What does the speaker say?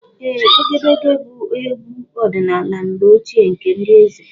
Ee, Egedege bụ egwu ọdịnala mgbe ochie nke ndị eze.